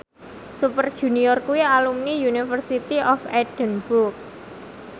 Super Junior kuwi alumni University of Edinburgh